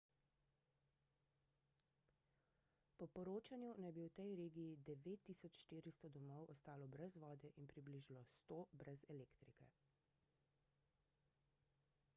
po poročanju naj bi v tej regiji 9400 domov ostalo brez vode in približno 100 brez elektrike